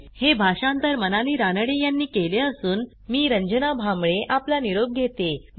ह्या ट्युटोरियलचे भाषांतर मनाली रानडे यांनी केले असून मी रंजना भांबळे आपला निरोप घेते